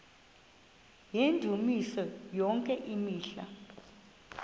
yendumiso yonke imihla